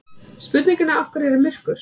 Spurningunni Af hverju er myrkur?